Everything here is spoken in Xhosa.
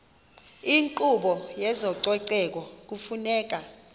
inkqubo yezococeko kufuneka